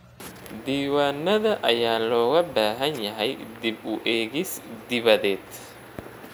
Diiwaanada ayaa looga baahan yahay dib u eegis dibadeed.